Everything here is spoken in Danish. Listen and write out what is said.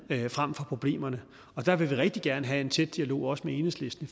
frem for problemerne og der vil vi rigtig gerne have en tæt dialog også med enhedslisten